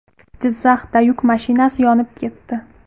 Jizzaxda yuk mashinasi yonib ketdi.